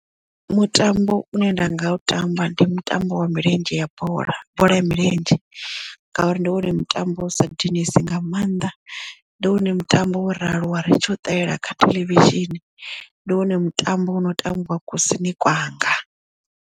Mutambo une nda nga u tamba ndi mutambo wa milenzhe ya bola bola ya milenzhe ngauri ndi wone mutambo usa dinesi nga maanḓa ndi wone mutambo wo rali wa ri tshi u ṱalela kha theḽevishini ndi wone mutambo wo no tambiwa kusini kwanga.